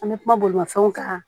An bɛ kuma bolomafɛnw kan